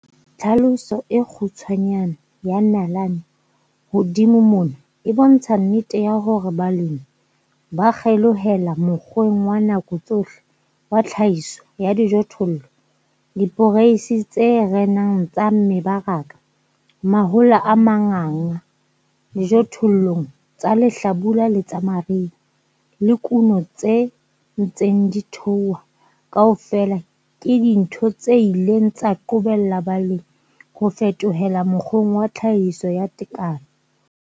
Tlhaloso e kgutshwanyane ya nalane hodimo mona e bontsha nnete ya hore ha balemi ba kgelohela mokgweng wa nako tsohle wa tlhahiso ya dijothollo, diporeisi tse renang tsa mebaraka, mahola a manganga dijothollong tsa lehlabula le tsa mariha, le kuno tse ntseng di theoha, kaofela ke dintho tse ileng tsa qobella balemi ho fetohela mokgweng wa tlhahiso ya tekano.